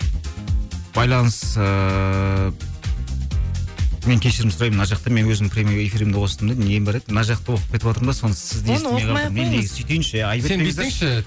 байланыс ыыы мен кешірім сұраймын мен мына жақта мен өзімнің прямой эфирімді қостым да нем бар еді мына жақты оқып кетіватырмын да